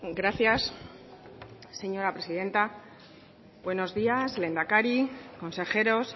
gracias señora presidenta buenos días lehendakari consejeros